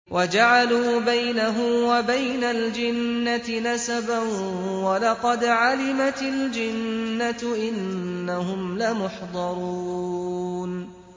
وَجَعَلُوا بَيْنَهُ وَبَيْنَ الْجِنَّةِ نَسَبًا ۚ وَلَقَدْ عَلِمَتِ الْجِنَّةُ إِنَّهُمْ لَمُحْضَرُونَ